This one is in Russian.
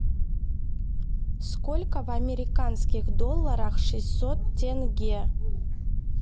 сколько в американских долларах шестьсот тенге